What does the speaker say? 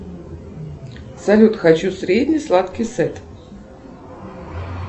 салют хочу средний сладкий сет